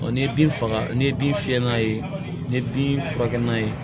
ni ye bin faga n'i ye bin fiyɛ n'a ye ni bin furakɛ n'a ye